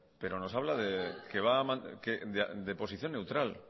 pero nos habla de posición neutral